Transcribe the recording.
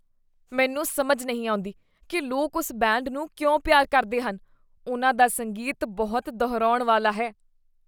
ਮੈਨੂੰ ਸਮਝ ਨਹੀਂ ਆਉਂਦੀ ਕੀ ਲੋਕ ਉਸ ਬੈਂਡ ਨੂੰ ਕਿਉਂ ਪਿਆਰ ਕਰਦੇ ਹਨ। ਉਨ੍ਹਾਂ ਦਾ ਸੰਗੀਤ ਬਹੁਤ ਦੁਹਰਾਉਣ ਵਾਲਾ ਹੈ।